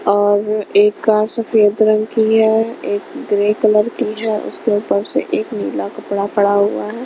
और एक कार सफेद रंग की है एक ग्रे कलर की है उसके ऊपर से एक नीला कपड़ा पड़ा हुआ हैं।